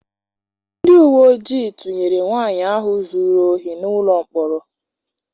Ndị uwe ojii tụnyere nwaanyị ahụ zụrụ ohi n'ụlọ mkpọrọ.